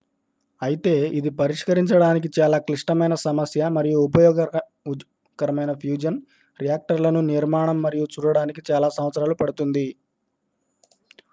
అయితే ఇది పరిష్కరించడానికి చాలా క్లిష్టమైన సమస్య మరియు ఉపయోగకరమైన ఫ్యూజన్ రియాక్టర్లను నిర్మాణం మనం చూడటానికి చాలా సంవత్సరాలు పడుతుంది